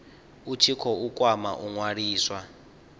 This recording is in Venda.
tshi khou kwama u ṅwaliswa